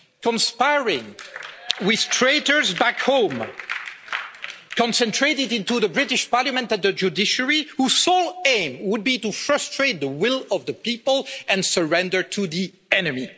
conspiring with traitors back home, concentrated in the British Parliament and the judiciary, whose sole aim would be to frustrate the will of the people and surrender to the enemy.